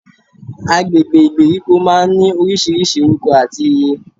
Agbègbè ìgbèríko máa n ní orísirísi orúko àti ìyé